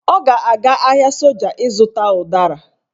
Ọ ga-aga ahịa soja ịzụta ụdara